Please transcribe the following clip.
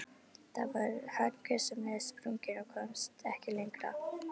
Þá var hann gjörsamlega sprunginn og komst ekki lengra.